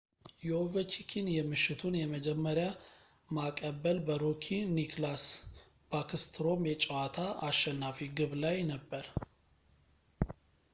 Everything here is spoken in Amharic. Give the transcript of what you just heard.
የኦቨቺኪን የምሽቱን የመጀመሪያ ማቀበል በሮኪ ኒከላስ ባክስትሮም የጨዋታ አሸናፊ ግብ ላይ ነበር